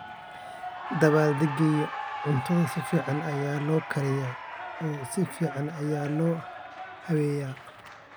Dabaaldegyada, cuntada si fiican ayaa loo kariyaa oo si fiican ayaa loo habeeyaa.